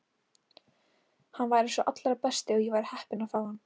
Hann væri sá allra besti og ég væri heppin að fá hann.